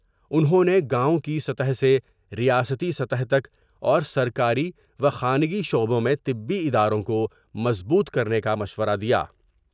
انہوں نے گاؤں کی سطح سے ریاستی سطح تک اور سرکاری و خانگی شعبوں میں طبی اداروں کو مضبوط کرنے کا مشورہ دیا۔